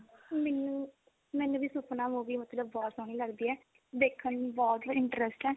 ਮੈਨੂੰ ਮੈਨੂੰ ਵੀ ਮਤਲਬ ਕੀ ਸੁਪਨਾ movie ਮਤਲਬ ਬਹੁਤ ਸੋਹਣੀ ਲਗਦੀ ਏ ਦੇਖਣ ਚ ਬਹੁਤ interest ਹੈ